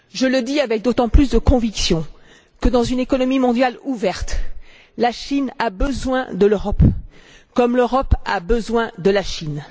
Je le dis avec d'autant plus de conviction que, dans une économie mondiale ouverte, la Chine a besoin de l'Europe, comme l'Europe a besoin de la Chine.